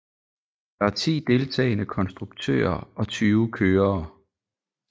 Der er ti deltagende konstruktører og tyve kørere